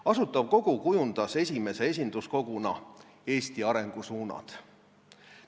Asutav Kogu kujundas esimese esinduskoguna Eesti arengusuunad.